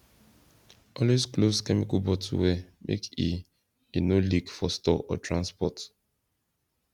always close chemical bottle well make e e no leak for store or transport